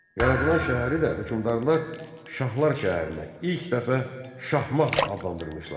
Yaradılan şəhəri də hökmdarlar Şahlar şəhərinə ilk dəfə Şahmağ adlandırmışlar.